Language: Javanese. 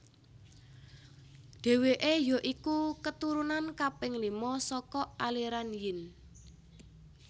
Dheweke ya iku keturunan kaping lima saka aliran Yin